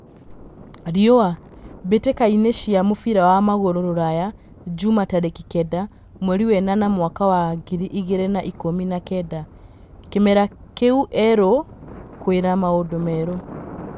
(Riũa) Mbĩ tĩ ka cĩ a mũbira wa magũrũ Ruraya Jumaa tarĩ ki kenda mweri wenana mwaka wa ngiri igĩ rĩ na ikũmi na kenda: Kĩ mera kĩ erũ, kwĩ na maũndũ merũ?